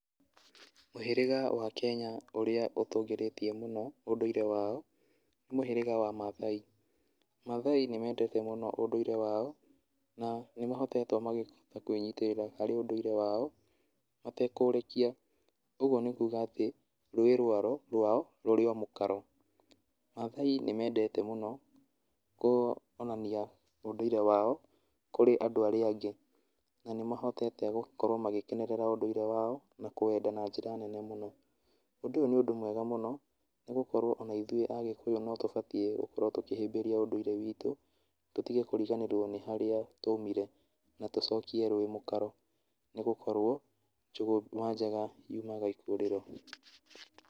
Mũhĩrĩga wa Kenya ũrĩa ũtũgũrĩtie mũno ũndũire wao, nĩ mũhĩrĩga wa mathai. Mathai nĩmendete mũno mũhĩgĩra wao na nĩ mahotete kwĩnyitĩrĩra harĩ ũndũire wao matekũũrekia ũguo nĩ kuga atĩ ruĩ rwao rũrĩ o mũkaro. Mathai nĩmendere mũno kwonania ũndũire wao kũrĩ andũ arĩa angĩ na nĩ mahotete gũkorwo magĩkenerera ũndũire wao na kũwenda na njĩra nene mũno, ũndũ ũyũ nĩ ũndũ mwega mũno nĩ gũkorwo ona ithuĩ Agĩkũyũ no tũbatie gũkorwo tũkĩhĩmbĩria ũndũire witũ, tũtige kũriganĩrwo nĩ harĩa twaumire na tũcokie rũĩ mũkaro nĩ gũkorwo njũgũma njega yumaga ikũrĩro.